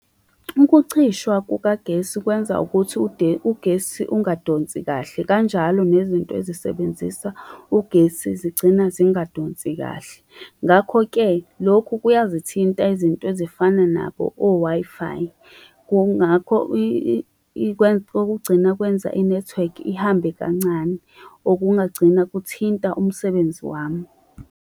Ukucishwa kukagesi kwenza ukuthi ugesi ungadonsi kahle, kanjalo nezinto ezisebenzisa ugesi. Zigcina zingadonsi kahle, ngakho-ke lokho kuya ezithinta izinto ezifana nabo o-Wi-Fi. Kungakho okugcina kwenza i-network ihambe kancane, okungagcina kuthinta umsebenzi wami.